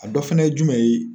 A dɔ fana ye jumɛn ye?